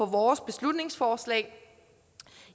vores beslutningsforslag